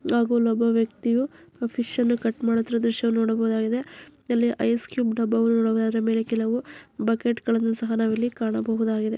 ಹಾಗು ಇಲ್ಲೊಬ್ಬಾ ವ್ಯಕ್ತಿಯು ಫಿಶ್ ಅನ್ನು ಕಟ್ ಮಾಡುತ್ತಿರುವುದು ಶೋ ನೋಡಬಹುದಾಗಿದೆ. ಇಲ್ಲಿ ಐಸ್ ಕ್ಯೂಬ್ ದಬ್ಬಾಗೋಲ್ ಅದಾವೆ ಅದರ ಮೇಲೆ ಕೆಲವು ಬಕೆಟ್ ಗಳನ್ನ ಸಹ ನಾವ್ ಇಲ್ಲಿ ಕಾಣಬಹುದಾಗಿದೆ.